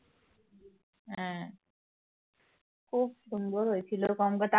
খুব সুন্দর হয়েছিল